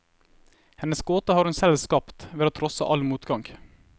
Hennes gåte har hun selv skapt ved å trosse all motgang.